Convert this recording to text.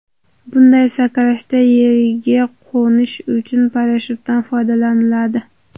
Bunday sakrashda yerga qo‘nish uchun parashyutdan foydalaniladi.